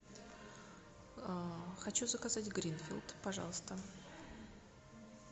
хочу заказать гринфилд пожалуйста